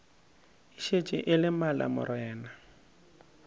e šetše e le malamorena